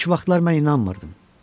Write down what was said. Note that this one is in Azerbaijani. İlk vaxtlar mən inanmırdım.